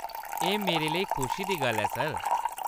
एह्‌‌ मेरे लेई खुशी दी गल्ल ऐ सर।